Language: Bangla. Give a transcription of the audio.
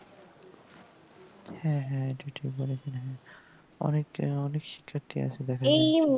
হ্যাঁ হ্যাঁ এটা ঠিক বলেছেন আপনি অনেকে অনেক শিক্ষার্থী আছে